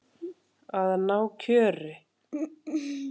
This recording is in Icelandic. Að ná kjöri.